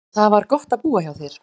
Það var gott að búa hjá þér.